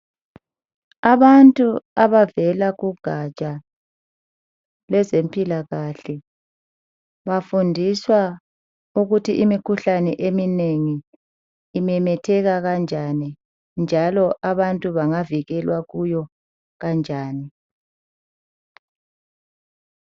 Abantu abavela kugatsha lezempilakahle bafundiswa ukuthi imikhuhlane eminengi imemetheka kanjani, njalo abantu bangavikelwa kuyo kanjani.